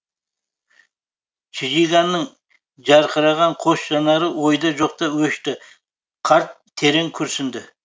чжиганның жарқыраған қос жанары ойда жоқта өшті қарт терең күрсінді